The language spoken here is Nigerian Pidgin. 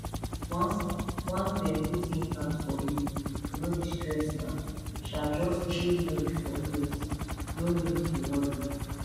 once once dem put implant for you e no dey stress na um just chill mode for years no need to worry